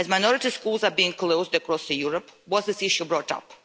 As minority schools are being closed across Europe, was this issue brought